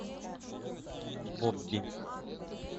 бобби